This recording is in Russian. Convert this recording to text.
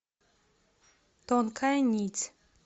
тонкая нить